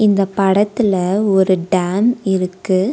இந்த படத்துல ஒரு டேம் இருக்கு.